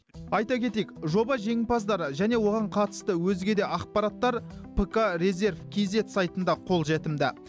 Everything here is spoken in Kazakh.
айта кетейік жоба жеңімпаздары және оған қатысты өзге де ақпараттар пкрезерв кизед сайтында қолжетімді